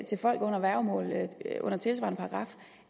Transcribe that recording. til folk under værgemål under tilsvarende paragraf